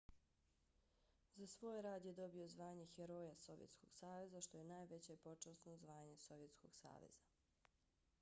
za svoj rad je dobio zvanje heroja sovjetskog saveza što je najveće počasno zvanje sovjetskog saveza